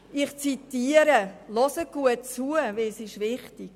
Ich zitiere, bitte hören Sie gut zu, es ist wichtig: